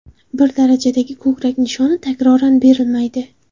Bir darajadagi ko‘krak nishoni takroran berilmaydi.